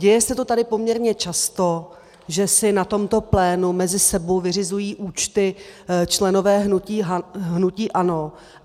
Děje se to tady poměrně často, že si na tomto plénu mezi sebou vyřizují účty členové hnutí ANO.